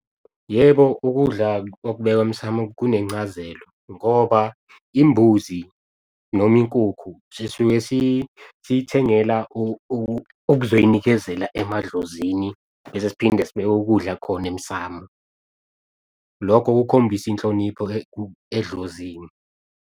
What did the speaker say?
Yebo, ukudla okubekwa emsamu kunencazelo ngoba imbuzi noma inkukhu sisuke siyithengela uk'zoyinikezela emadlozini bese siphinde sibike ukudla khona emsamu. Lokho kukhombisa inhlonipho edlozini.